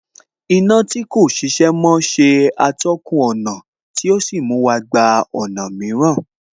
Iná tí kò ṣiṣẹ́ mọ́ ṣe atọ́kùn ọ̀nà tí ò sí mú wa gba ọ̀nà mìíràn